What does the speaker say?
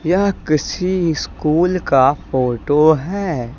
यह किसी स्कूल का फोटो है।